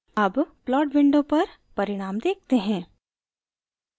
अब plot window पर परिणाम देखते हैं